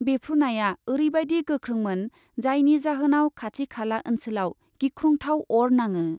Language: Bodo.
बेफ्रुनाया ओरैबायदि गोख्रोंमोन जायनि जाहोनाव खाथि खाला ओनसोलाव गिख्रंथाव अर नाङो।